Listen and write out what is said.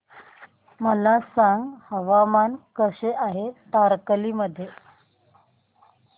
मला सांगा हवामान कसे आहे तारकर्ली मध्ये